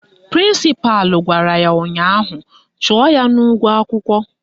Prịnsịpalụ gwara ya ụnyaahụ "Chụọ ya n'ụgwọ akwụkwọ!